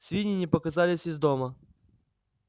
свиньи не показывались из дома